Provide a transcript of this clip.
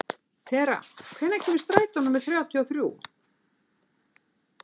Tera, hvenær kemur strætó númer þrjátíu og þrjú?